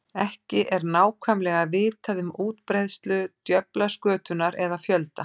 Ekki er nákvæmlega vitað um útbreiðslu djöflaskötunnar eða fjölda.